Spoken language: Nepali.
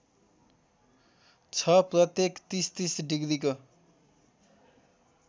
छ प्रत्येक ३०३० डिग्रीको